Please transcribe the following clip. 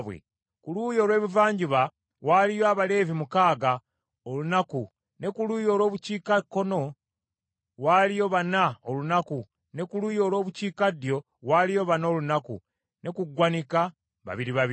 Ku luuyi olw’ebuvanjuba waaliyo Abaleevi mukaaga, olunaku, ne ku luuyi olw’obukiikakkono waaliyo bana olunaku ne ku luuyi olw’obukiikaddyo waaliyo bana olunaku, ne ku ggwanika babiri babiri.